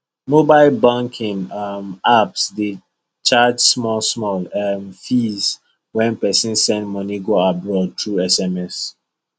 mobile banking um apps dey charge small small um fee when person send money go abroad through sms